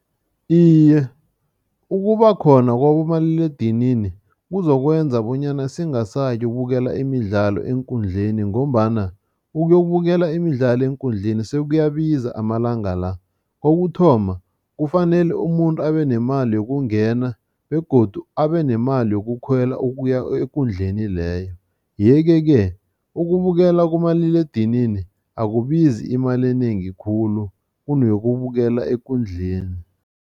Iye, ukubakhona kwabomaliledinini kuzokwenza bonyana singasayi ukubukela imidlalo eenkundleni ngombana ukuyokubukela imidlalo eenkundleni sekuyabiza amalanga la. Kokuthoma, kufanele umuntu abenemali yokungena begodu abenemali yokukhwela ukuya ekundleni leyo yeke-ke ukubukela kumaliledinini akubizi imali enengi khulu kuneyokubukela ekundleni.